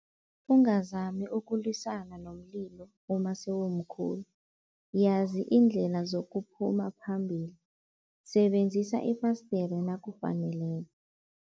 Ungazami ukulwisana nomlilo uma sewumkhulu, yazi iindlela zokuphuma phambili, sebenzisa ifasdere nakufaneleko.